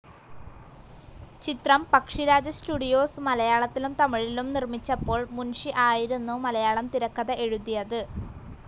ചിത്രം പക്ഷിരാജ സ്റ്റുഡിയോസ്‌ മലയാളത്തിലും തമിഴിലും നിർമ്മിച്ചപ്പോൾ മുൻഷി ആയിരുന്നു മലയാളം തിരക്കഥ എഴുതിയത്.